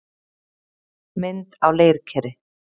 Mynd á leirkeri.